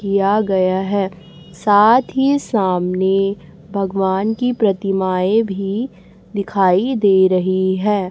किया गया है साथ ही सामने भगवान की प्रतिमाएं भी दिखाई दे रही हैं।